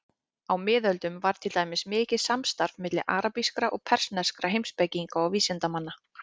Á miðöldum var til dæmis mikið samstarf milli arabískra og persneskra heimspekinga og vísindamanna.